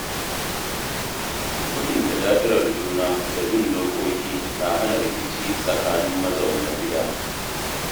Mutunta da'irar juna da bin dokoki na hana rikici tsakanin mazauna gida.